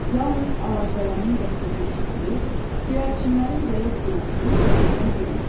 Yalnız ağacdələnin qəhqəhi eşidilir, göyərçinlərin zəif gurultusu kəsilmək bilmirdi.